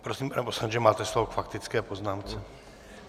Prosím, pane poslanče, máte slovo k faktické poznámce.